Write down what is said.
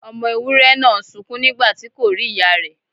Ọmọ ewúré náà ń sunkún nígbàtí kò rí ìyá rè.